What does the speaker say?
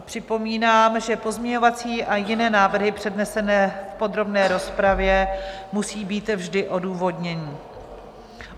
Připomínám, že pozměňovací a jiné návrhy přednesené v podrobné rozpravě musí být vždy odůvodněné.